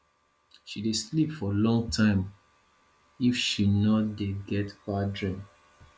she dey sleep for long time if she no dey get bad dream